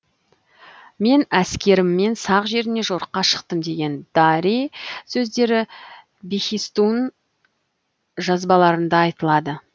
мен әскеріммен сақ жеріне жорыққа шықтым деген дарий сөздері бехистун жазбаларында айтылады